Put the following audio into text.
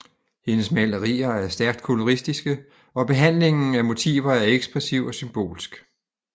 Hendes malerier er stærkt koloristiske og behandlingen af motiver er ekspressiv og symbolsk